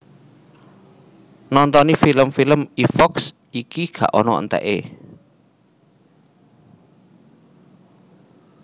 Nontoni film film e Fox iki gak ana entek e